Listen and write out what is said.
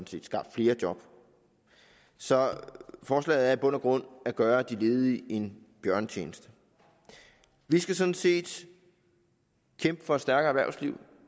skabt flere job så forslaget er i bund og grund at gøre de ledige en bjørnetjeneste vi skal sådan set kæmpe for et stærkere erhvervsliv